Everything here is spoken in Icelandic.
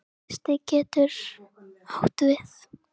Miðstig getur átt við